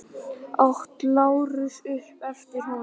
át Lárus upp eftir honum.